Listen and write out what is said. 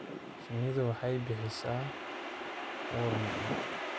Shinnidu waxay bixisa ur macaan.